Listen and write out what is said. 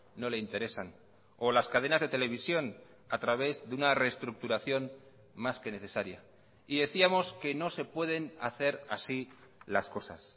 no le interesan o las cadenas de televisión a través de una reestructuración más que necesaria y decíamos que no se pueden hacer así las cosas